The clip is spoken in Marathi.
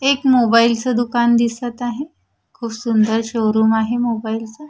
एक मोबाईलच दुकान दिसत आहे खूप सुंदर शोरूम आहे मोबाईलचा .